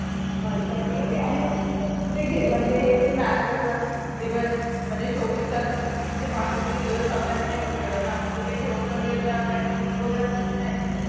अच्छा ठीक ये आणि कुठे म्हणजे आता हे आता कसं म्हणजे चोवीस तास असं तीनशे पासष्ठ दिवस अभ्यास नाही करू शकत ना मग कुठे घेऊन वगैरा काय पिकनिक वगैरा असते की नाही तिकडे?